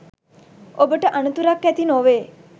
ඔබට අනතුරක් ඇති නොවේ.